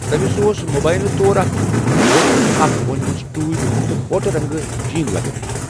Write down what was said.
تمِس اوس مُبیِنہٕ طور اكھ كرہن كوٹھ، اكھ وونِمٕژ ٹوٗپۍ تہٕ گۄٹہِ رنٛگہٕ جین لگٲوِتھ۔